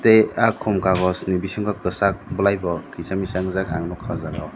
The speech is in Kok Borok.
tei khum kagoz ni bisingo kwchak bwlai bo kisa misa ungjak ang nukha o jaga o.